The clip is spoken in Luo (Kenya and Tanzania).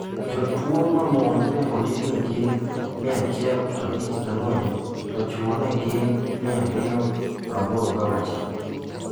Jotuwo wmon ne ondiki ni gin 154 to chwo ne gin 286.